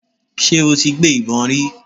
Ṣé o ti gbé ìbọn rí.?